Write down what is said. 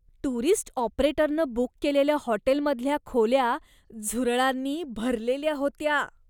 Tourist ऑपरेटरनं book केलेल्या हॉटेलमधल्या खोल्या झुरळांनी भरलेल्या होत्या.